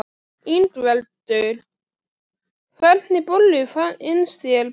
Ingveldur: Hvernig bollur finnst þér bestar?